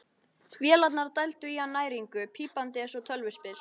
Vélarnar dældu í hann næringu, pípandi eins og tölvuspil.